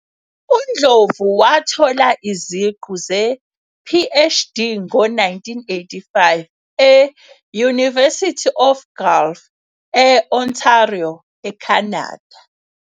UNdlovu wathola iziqu ze-PhD ngo-1985 e- University of Guelph, e-Ontario, eCanada.